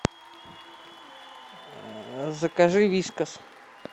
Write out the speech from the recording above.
закажи вискас